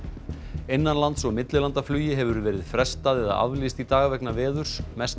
innanlands og millilandaflugi hefur verið frestað eða aflýst í dag vegna veðurs mesti